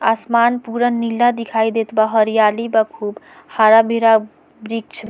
आसमान पूरा नीला दिखाई देत बा हरियाली बा खूब हरा-भरा वृक्ष --